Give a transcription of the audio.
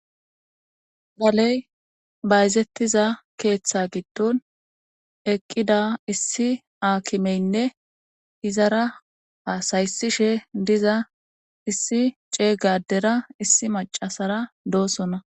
Moley bayizetiza keththa gidon eqi issi akimeyine ezara hasa7isishe de7iza issi cega adera issi macasera dosona.